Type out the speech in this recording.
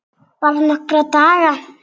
Bara nokkra daga.